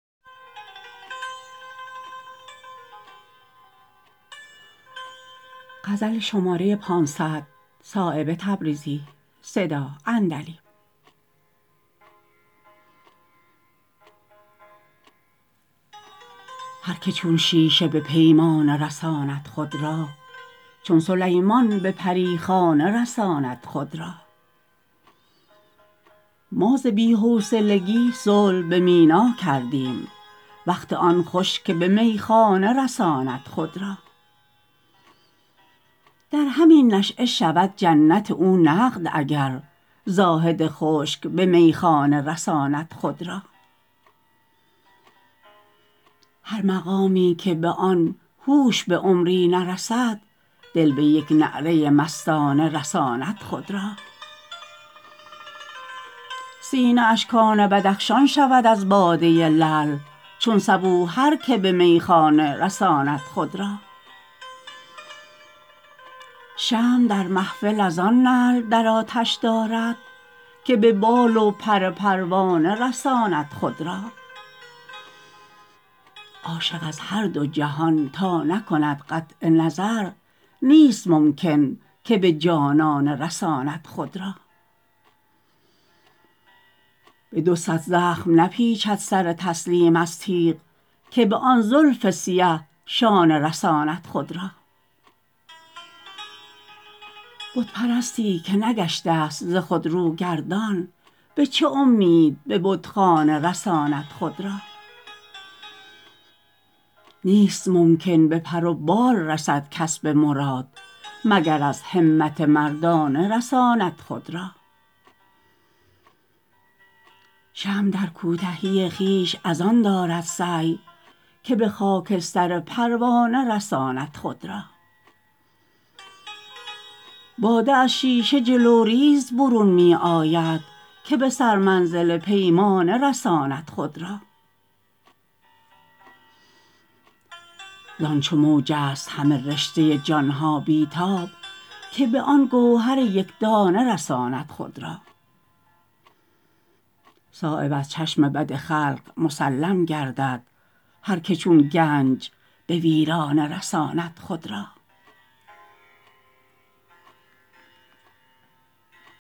هر که چون شیشه به پیمانه رساند خود را چون سلیمان به پریخانه رساند خود را ما ز بی حوصلگی صلح به مینا کردیم وقت آن خوش که به میخانه رساند خود را در همین نشأه شود جنت او نقد اگر زاهد خشک به میخانه رساند خود را هر مقامی که به آن هوش به عمری نرسد دل به یک نعره مستانه رساند خود را سینه اش کان بدخشان شود از باده لعل چون سبو هر که به میخانه رساند خود را شمع در محفل ازان نعل در آتش دارد که به بال و پر پروانه رساند خود را عاشق از هر دو جهان تا نکند قطع نظر نیست ممکن که به جانانه رساند خود را به دو صد زخم نپیچد سر تسلیم از تیغ که به آن زلف سیه شانه رساند خود را بت پرستی که نگشته است ز خود رو گردان به چه امید به بتخانه رساند خود را نیست ممکن به پر و بال رسد کس به مراد مگر از همت مردانه رساند خود را شمع در کوتهی خویش ازان دارد سعی که به خاکستر پروانه رساند خود را باده از شیشه جلوریز برون می آید که به سر منزل پیمانه رساند خود را زان چو موج است همه رشته جان ها بی تاب که به آن گوهر یکدانه رساند خود را صایب از چشم بد خلق مسلم گردد هر که چون گنج به ویرانه رساند خود را